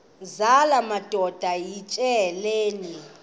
zala madoda yityesheleni